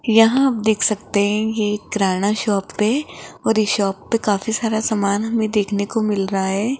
यहां आप देख सकते हैं ये एक किराना शॉप है और इस शॉप पे काफी सारा समान हमें देखने को मिल रहा है।